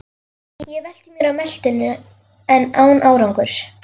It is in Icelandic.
Ég velti mér á meltuna en án árangurs.